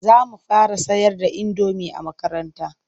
Za mu fara sayar da indomi a makaranta.